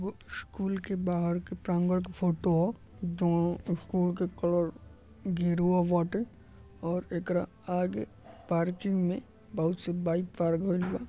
School के बाहर के प्रांगण के फोटो ह। दोनों स्कूल के कलर गेरुवा बाटे और एकरा आगे पार्किंग मे बहोत सी बाइक पार्क भइल बा।